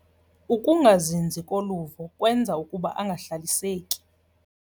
Ukungazinzi koluvo kwenza ukuba angahlaliseki.